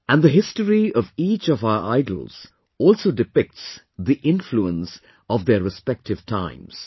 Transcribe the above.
And the history of each of our idols also depicts the influence of their respective times